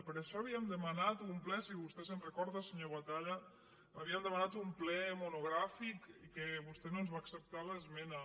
per això havíem demanat un ple si vostè se’n recorda senyor batalla havíem demanat un ple mo·nogràfic que vostè no ens va acceptar l’esmena